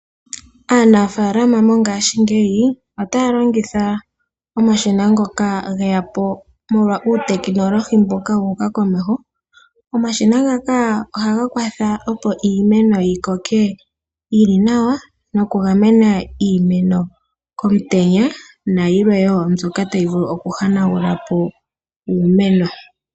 Aanafaalama mongashingeyi otaya longitha omashina ngoka geya po molwa uutekinologhi mboka wuuka komeho. Omashina ngaka ohaga kwatha opo iimeno yikoke yili nawa nokugamena iimeno komutenya nayilwe wo mbyoka tayi vulu okuhanagula po iimeno.